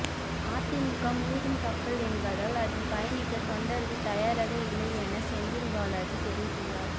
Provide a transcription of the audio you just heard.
அதிமுக மூழ்கும் கப்பல் என்பதால் அதில் பயணிக்க தொண்டர்கள் தயாராக இல்லை என செந்தில் பாலாஜி தெரிவித்துள்ளார்